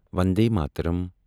Vande Mataram